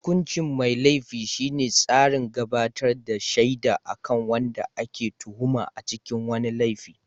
hukuncin mai Laifi shine tsarin gabatar da shaida akan wanda ake tuhuma a cikin wani laifi